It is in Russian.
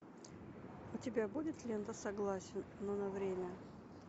у тебя будет лента согласен но на время